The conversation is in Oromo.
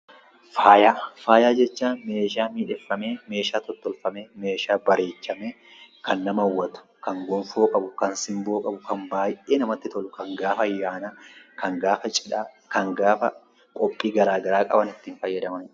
Faaya jechuun meeshaa miidhagfame, meeshaa tottolchamee, meeshaa bareechame kan nama hawwatu, kan gonfoo qabu, kan simboo qabu, kan baay'ee namatti tolu kan gaafa ayyaanaa, kan gaafa cidhaaf kan gaafa qophii adda addaa qaban itti fayyadamanidha.